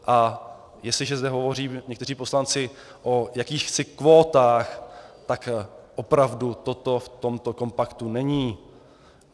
A jestliže zde hovoří někteří poslanci o jakýchsi kvótách, tak opravdu toto v tomto kompaktu není.